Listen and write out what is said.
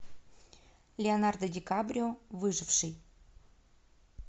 леонардо ди каприо выживший